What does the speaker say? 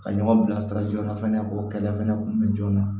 Ka ɲɔgɔn bilasira joona fɛnɛ o kɛlɛ fana kun bɛ joona